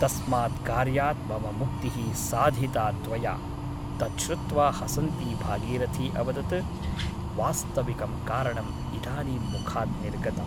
तस्मात् कार्यात् मम मुक्तिः साधिता त्वया तत् श्रुत्वा हसन्ती भागीरथी अवदत् वास्तविकं कारणम् इदानीं मुखात् निर्गतम् ।